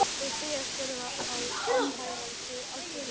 Þau segjast verða að samhæfa sig algjörlega.